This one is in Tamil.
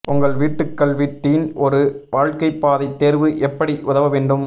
உங்கள் வீட்டுக்கல்வி டீன் ஒரு வாழ்க்கை பாதை தேர்வு எப்படி உதவ வேண்டும்